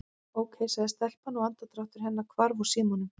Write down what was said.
Ókei- sagði telpan og andardráttur hennar hvarf úr símanum.